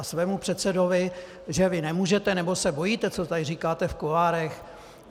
A svému předsedovi - že vy nemůžete, nebo se bojíte - co tady říkáte v kuloárech...